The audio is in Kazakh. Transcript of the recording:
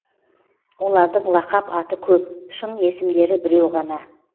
олардың лақап аты көп шын есімдері біреу ғана